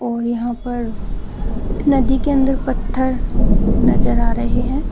और यहां पर नदी के अंदर पत्थर नजर आ रहे हैं।